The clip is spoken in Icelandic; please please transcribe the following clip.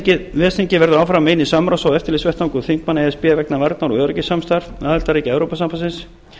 ár ves þingið verður áfram eini samráðs og eftirlitsvettvangur þingmanna e s b vegna varnar og öryggissamstarfs aðildarríkja evrópusambandsins